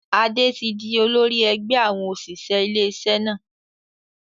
Adé tí di olórí ẹgbẹ́ àwọn òṣìṣẹ́ ilé iṣẹ́ náà.